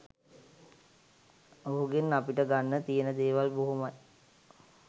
ඔහුගෙන් අපිට ගන්න තියන දේවල් බොහොමයි